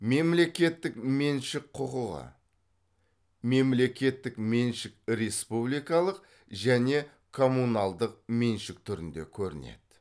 мемлекеттік меншік құқығы мемлекеттік меншік республикалық және коммуналдық меншік түрінде көрінеді